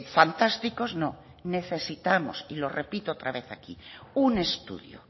fantásticos no necesitamos y lo repito otra vez aquí un estudio